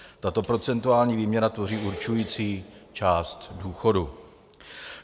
Tato procentuální výměra tvoří určující část důchodu.